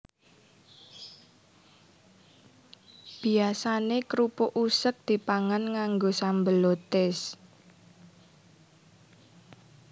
Biyasané krupuk useg dipangan nganggo sambel lotis